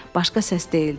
Başqa səs deyildi.